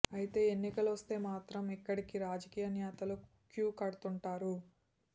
అయితే ఎన్నికలొస్తే మాత్రం ఇక్కడికి రాజకీయ నేతలు క్యూ కడుతుంటారు